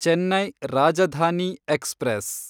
Chennai Rajdhani express